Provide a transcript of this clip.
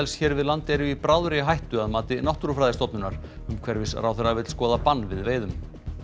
hér við land eru í bráðri hættu að mati Náttúrufræðistofnunar umhverfisráðherra vill skoða bann við veiðum